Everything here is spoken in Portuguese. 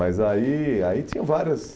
Mas aí ai tinha vários...